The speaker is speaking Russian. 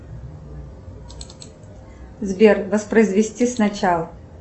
сбер воспроизвести сначала